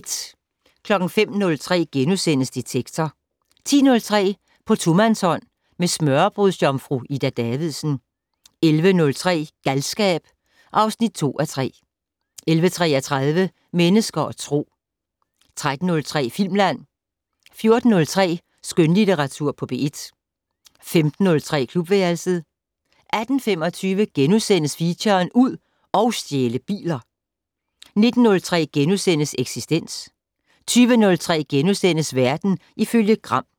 05:03: Detektor * 10:03: På tomandshånd med smørrebrødsjomfru Ida Davidsen 11:03: Galskab (2:3) 11:33: Mennesker og Tro 13:03: Filmland 14:03: Skønlitteratur på P1 15:03: Klubværelset 18:25: Feature: Ud og stjæle biler * 19:03: Eksistens * 20:03: Verden ifølge Gram *